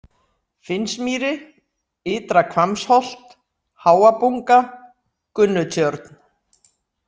Finnsmýri, Ytra-Hvammsholt, Háabunga, Gunnutjörn